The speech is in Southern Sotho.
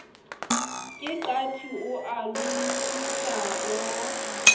ke qati o a lomisanwa